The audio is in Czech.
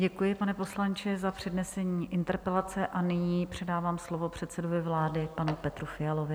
Děkuji, pane poslanče, za přednesení interpelace a nyní předávám slovo předsedovi vlády panu Petru Fialovi.